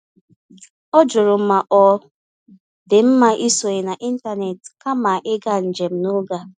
Ọ jụrụ ma ọ dị mma isonye n’ịntanetị kama ịga njem n'oge a.